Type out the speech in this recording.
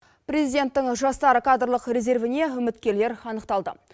президенттің жастар кадрлық резервіне үміткерлер анықталды